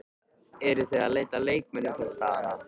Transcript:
Eruð þið að leita að leikmönnum þessa dagana?